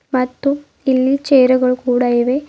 ಮತ್ತು ಇಲ್ಲಿ ಚೇರುಗಳು ಕೂಡ ಇವೆ.